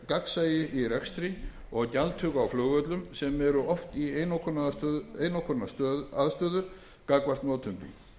gagnsæi í rekstri og gjaldtöku á flugvöllum sem eru í oft í einokunaraðstöðu gagnvart notendum